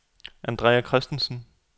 Andrea Kristensen